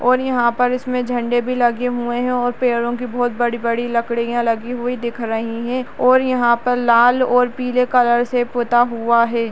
और यहाँ पर इसमें झंडे भी लगे हुए हैं और पेड़ों की बहोत बड़ी-बड़ी लकड़ियां लगी हुई दिख रही हैं और यहाँ पर लाल और पीले कलर से पूता हुआ है।